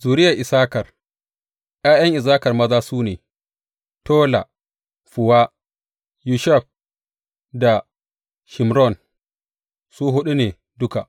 Zuriyar Issakar ’Ya’yan Issakar maza su ne, Tola, Fuwa, Yashub da Shimron, su huɗu ne duka.